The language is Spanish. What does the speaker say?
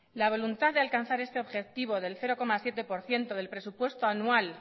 la voluntad de alcanzar este objetivo del cero coma siete por ciento del presupuesto anual